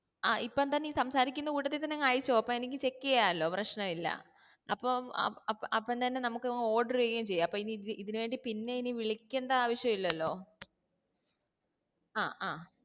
ആ ഇപ്പൊ തന്നെ ഈ സംസാരിക്കുന്ന കൂട്ടത്തിത്തന്നെ അങ്ങ് അയച്ചോ അപ്പോ എനിക്ക് check ചെയ്യാലോ പ്രഷ്നില്ല അപ്പം അപ്പംതന്നെ നമ്മക് അ order ചെയ്യേയിംചെയ്യ അപ്പൊ ഇതിനിവേണ്ടി പിന്നെ ഇനി വിളിക്കണ്ട ആവിഷില്ലലോ